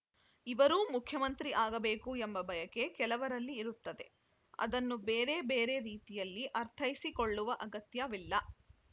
ಇವರೂ ಮುಖ್ಯಮಂತ್ರಿ ಆಗಬೇಕು ಎಂಬ ಬಯಕೆ ಕೆಲವರಲ್ಲಿ ಇರುತ್ತದೆ ಅದನ್ನು ಬೇರೆ ಬೇರೆ ರೀತಿಯಲ್ಲಿ ಅರ್ಥೈಸಿಕೊಳ್ಳುವ ಅಗತ್ಯವಿಲ್ಲ